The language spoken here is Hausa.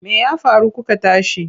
Me ya faru kuka tashi?